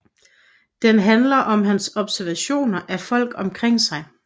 Den handler om hans observationer af folk omkring sig